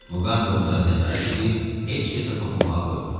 Muqambi onları nəzarət eləyir, heç kəsə toxunmağa qoymurdu.